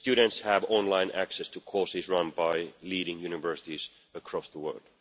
Students have online access to courses run by leading universities across the world.